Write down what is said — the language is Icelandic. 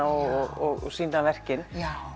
og sýna verkin